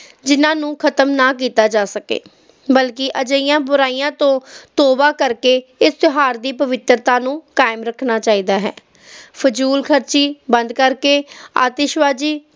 ਜਿਹਨਾਂ ਨੂੰ ਖਤਮ ਨਾ ਕੀਤਾ ਜਾ ਸਕੇ ਬਲਕਿ ਅਜਿਹੀਆਂ ਬੁਰਾਈਆਂ ਤੋਂ ਤੌਬਾ ਕਰਕੇ ਇਸ ਤਿਓਹਾਰ ਦੀ ਪਵਿੱਤਰਤਾ ਨੂੰ ਕਾਇਮ ਰੱਖਣਾ ਚਾਹੀਦਾ ਹੈ ਫ਼ਿਜ਼ੂਲਖਰਚੀ ਘਟ ਕਰਕੇ ਆਤਿਸ਼ਬਾਜ਼ੀ